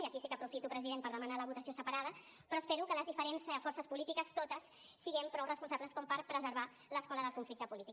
i aquí sí que aprofito president per demanar la votació separada però espero que les diferents forces polítiques totes siguem prou responsables com per preservar l’escola del conflicte polític